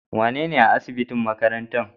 Wane ne a asibitin makarantan?